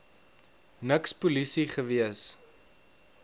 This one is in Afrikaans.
niks polisie gewees